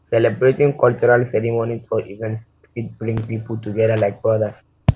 celebrating cultural cultural ceremonies or events fit bring pipo together like brothers